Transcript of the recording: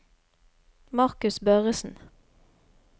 Marcus Børresen